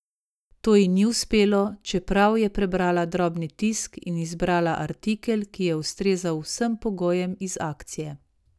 To ji ni uspelo, čeprav je prebrala drobni tisk in izbrala artikel, ki je ustrezal vsem pogojem iz akcije.